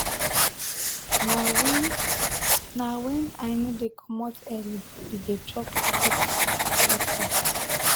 na wen na wen i no dey comot early we dey chop cooked food for breakfast.